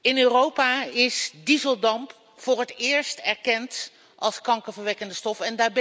In Europa is dieseldamp voor het eerst erkend als kankerverwekkende stof.